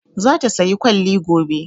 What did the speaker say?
Za ta saya kwalli gobe